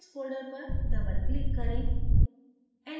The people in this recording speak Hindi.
halides folder पर double click करें